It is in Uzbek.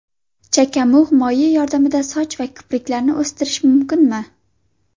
Chakamug‘ moyi yordamida soch va kipriklarni o‘stirish mumkinmi?.